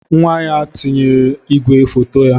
Nwa ya tiwara igwe foto ya.